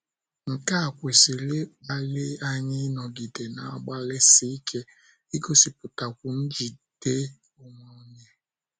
Nke a kwesịrị ịkpali anyị ịnọgide na - agbalịsi ike igosipụtakwu njide onwe onye.